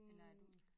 Eller er du